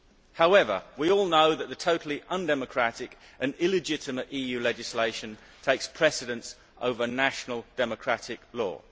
However, we all know that the totally undemocratic and illegitimate EU legislation takes precedence over national democratic law!